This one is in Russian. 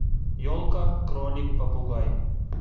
елка кролик попугай